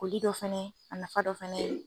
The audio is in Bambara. Koli dɔ fana ye a nafa dɔ fana ye.